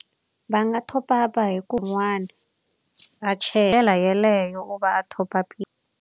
Va nga top up-a hi va yeleyo va a .